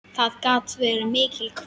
Það gat verið mikil hvíld.